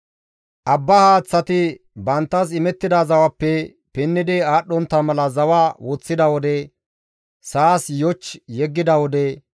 abbaa haaththati banttas imettida zawappe pinnidi aadhdhontta mala zawa woththida wode, sa7as yoch yeggida wode,